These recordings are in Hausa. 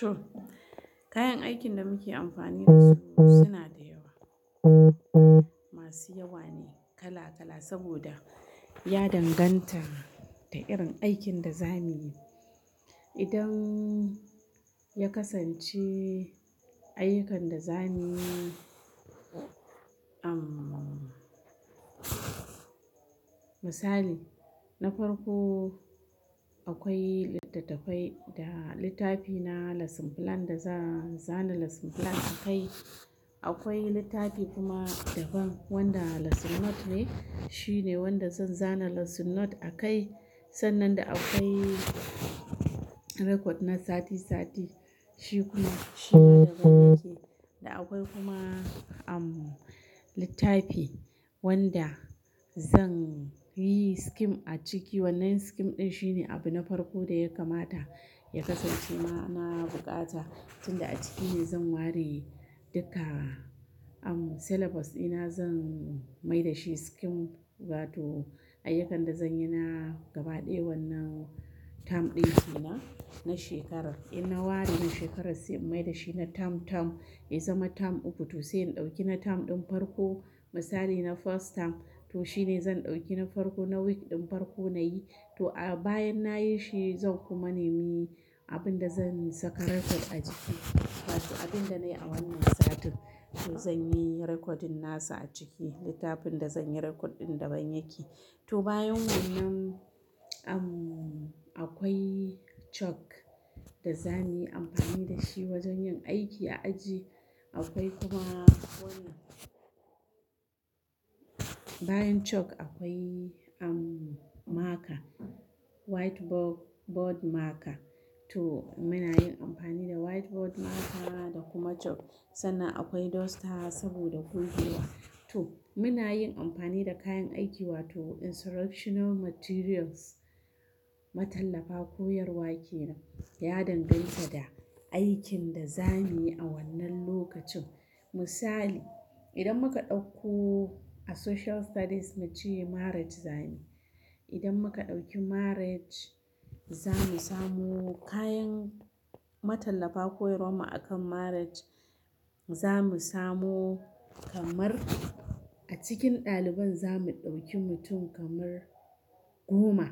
To, kayan aikin da muke amfani da su suna da yawa, masu yawa ne kala kala saboda ya danganta da irin aikin da za miyi. Idan ya kasance ayyukan da za muyi, umm, misali na farko akwai littattafai da littafi na lesson plan da za zana lesson plan akai. Akwai littafi kuma daban wanda lesson note ne, shi ne wanda zan zana lesson note a kai. Sannan da akwai record na sati sati, shi kuma shima daban yake. Da akwai kuma, umm, littafi wanda zan yi scheme a ciki wannan scheme ɗin shine abu na farko da ya kamata ya kasance ma, na bukata. Tunda a ciki ne zan ware duka, umm, syllabus ɗina zan mai da shi scheme. To ayyukan da zan yi na gaba ɗaya wannan term ɗin kenan, na shekarar. In na ware shi shekarar sai in mai da shi na term term. Ya zama term uku toh sai in ɗauki na term ɗin farko. Misali na first term toh shi ne zan ɗauki na farko na week ɗin farko na yi. To a bayan na yi shi zan kuma nemi abin da zan saka record a ciki. To abin da na yi a wannan satin toh zan yi recording nasa a ciki. Littafin da zan yi record ɗin daban yake. To bayan wannan, umm, akwai chalk da za muyi amfani da shi wajen yin aiki a aji. Akwai kuma wannan, bayan chalk akwai, umm, marker, whitebo-board marker. To muna yin amfani da white board marker da kuma chalk. Sannan akwai duster saboda gogewa. To muna yin amfani da kayan aiki wato instructional materials. Matallafa koyarwa kenan, ya danganta da aikin da za muyi a wannan lokacin. Misali idan muka ɗauko a Social Studies mu ce marriage za muyi. Idan muka ɗauki marriage za mu samo kayan matallafa koyarwanmu akan marriage. Za mu samo kamar a cikin ɗaliban za mu ɗauki mutum kamar goma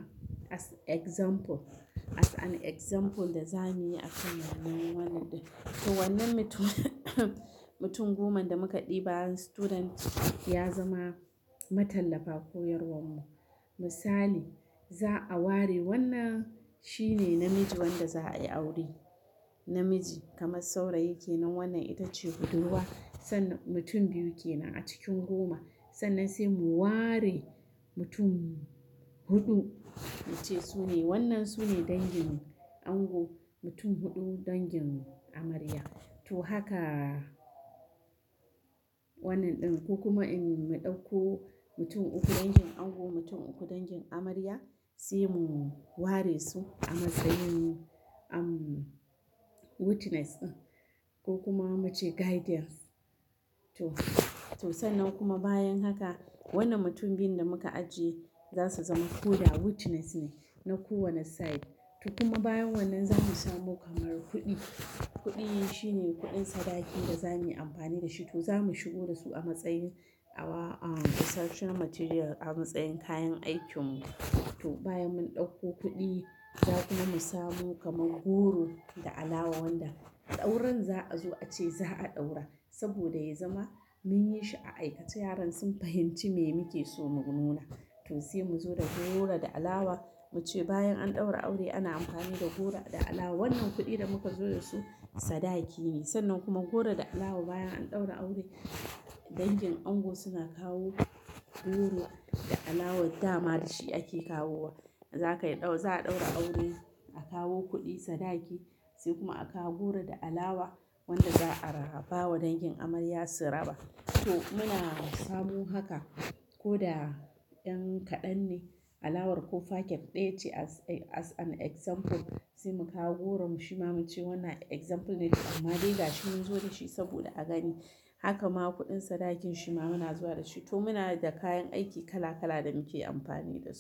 as example. As an example da za muyi akan wannan wannan din. To wannan mutum mutum goman da muka ɗiba student ya zama matallafa koyarwan mu. Misali za a ware wannan shi ne namiji wanda za a yi aure. Namiji kamar saurayi kenan wannan ita ce hudurwa. Sannan mutum biyu kenan a cikin goma. Sannan sai mu ware mutum huɗu mu ce su ne wannan su ne dangin ango. Mutum huɗu dangin amarya. To haka wannan ɗin ko kuma in mu ɗauko mutum uku dangin ango mutum uku dangin amarya sai mu ware su a matsayin, umm, witness din ko kuma mu ce guardians. To, to sannan kuma bayan haka wannan mutum biyun da muka ajiye za su zama ko da witness ne na kowane side. To kuma bayan wannan za mu samo kamar kuɗi. Kuɗi shi ne kuɗin sadaki da za muyi amfani da shi. To za mu shigo da su a matsayin a wa-a instructional material a matsayin kayan aikin mu. To bayan mun ɗauko kuɗi za kuma mu samo kamar goro da alawa wanda auran za a zo a ce za a ɗaura. Saboda ya zama mun yi shi a aikace yaran sun fahimci me muke so mu nuna. To sai mu zo da goro da alawa mu ce bayan an ɗaura aure ana amfani da goro da alawa. Wannan kuɗi da muka zo da su sadaki ne. Sannan kuma goro da alawa bayan an ɗaura aure dangin ango suna kawo goro da alawar dama da shi ake kawowa. Za ka ɗau-za a ɗaura aure a kawo kuɗi sadaki sai kuma a kawo goro da alawa wanda za a ra-bawa dangin amarya su raba. To muna samo haka ko da ɗan kaɗan ne alawar ko faket ɗaya ce as a-as an example sai mu kawo goro. Shi ma mu ce wannan example ne amma dai gashi mun zo da shi saboda a gani. Haka ma kuɗin sadakin shi ma muna zuwa da shi. To muna da kayan aiki kala kala da muke amfani da su.